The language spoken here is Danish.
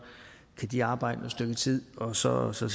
kan de arbejde et stykke tid og så ser